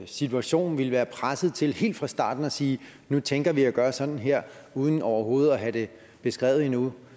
situation ville være presset til helt fra starten at sige at nu tænker vi at gøre sådan her uden overhovedet at have det beskrevet endnu